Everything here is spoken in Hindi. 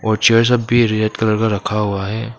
चेयर सब भी रेड कलर का रखा हुआ है।